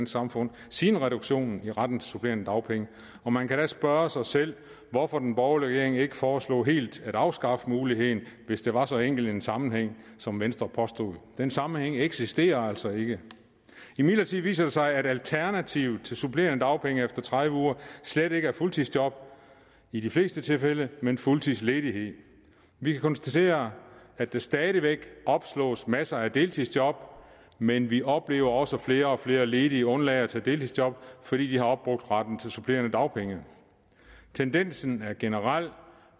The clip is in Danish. samfund siden reduktionen i retten til supplerende dagpenge og man kan da spørge sig selv hvorfor den borgerlige regering ikke foreslog helt at afskaffe muligheden hvis der var så enkel en sammenhæng som venstre påstod den sammenhæng eksisterer altså ikke imidlertid viser det sig at alternativet til supplerende dagpenge efter tredive uger slet ikke er fuldtidsjob i de fleste tilfælde men fuldtidsledighed vi kan konstatere at der stadig væk opslås masser af deltidsjob men vi oplever også at flere og flere ledige undlader at tage deltidsjob fordi de har opbrugt retten til supplerende dagpenge tendensen er generel